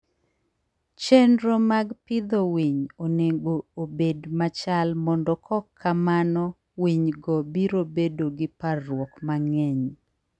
Chenro mag pidho winy onego obed machal mondo kok kamano winygo biro bedo gi parruok mang'eny.